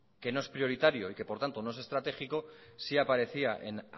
que no es prioritario y por lo tanto no es estratégico sí aparecía en